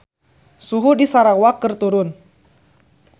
Suhu di Sarawak keur turun